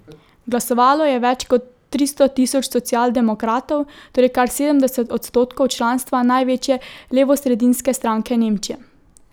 Glasovalo je več kot tristo tisoč socialdemokratov, torej kar sedemdeset odstotkov članstva največje levosredinske stranke Nemčije.